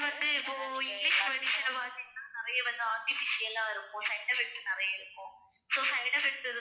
வந்து இப்போ English medicine ன்ன பாத்தீங்கன்னா நிறைய வந்து artificial ஆ இருக்கும் side effect நிறைய இருக்கும் so side effects